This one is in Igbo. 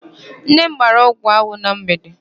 Nna m gbara ọgwụ anwụ na mgbede.